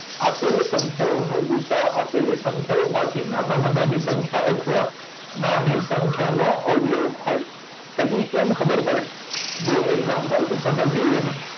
આપેલો સંખ્યાઓનો ગુસાઅ આપેલી સંખ્યામાંથી નાનામાં નાની સંખ્યા અથવા નાની સંખ્યાનો અવયવ હોય ખબર પડે જો એક્ષામ્પલથી સમજ્યે એને